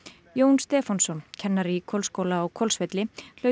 Jón Stefánsson kennari í Hvolsskóla á Hvolsvelli hlaut